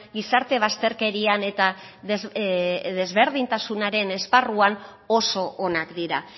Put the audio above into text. gizarte bazterkerian eta desberdintasunaren esparruan oso onak dira